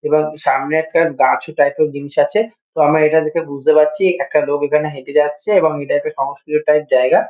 এবং সামনে একটা গাছ টাইপ -এর জিনিস আছে। তো আমরা এটা দেখে বুঝতে পারছি একটা লোক এখানে হেঁটে যাচ্ছে এবং এটা একটা সংস্কৃত টাইপ জায়গা।